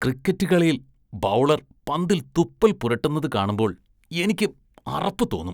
Cricket കളിയില്‍ bowler‍ പന്തില്‍ തുപ്പല്‍ പുരട്ടുന്നത് കാണുമ്പോള്‍ എനിക്ക് അറപ്പ് തോന്നും.